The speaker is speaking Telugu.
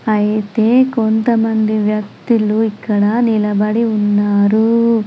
ఐతే కొంతమంది వ్యక్తులు ఇక్కడ నిలబడి ఉన్నారు.